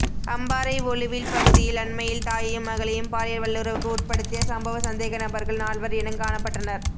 அம்பாறை ஒழுவில் பகுதியில் அண்மையில் தாயையும் மகளையும் பாலியல் வல்லுறவுக்கு உட்படுத்திய சம்பவ சந்தேகநபர்கள் நால்வர் இனங் காணப்பட்டனர்